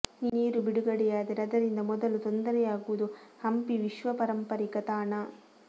ನೀರು ಬಿಡುಗಡೆಯಾದರೆ ಅದರಿಂದ ಮೊದಲು ತೊಂದರೆಯಾಗುವುದು ಹಂಪಿ ವಿಶ್ವ ಪರಂಪರಿಕ ತಾಣ